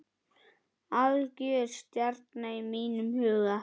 Algjör stjarna í mínum huga.